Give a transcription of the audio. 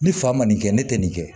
Ni fa ma nin kɛ ne tɛ nin kɛ